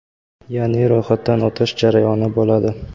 yaʼni ro‘yxatdan o‘tish jarayoni bo‘ladi.